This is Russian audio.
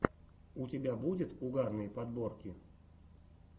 у тебя будет угарные подборки